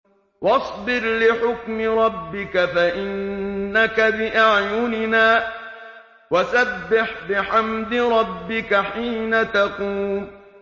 وَاصْبِرْ لِحُكْمِ رَبِّكَ فَإِنَّكَ بِأَعْيُنِنَا ۖ وَسَبِّحْ بِحَمْدِ رَبِّكَ حِينَ تَقُومُ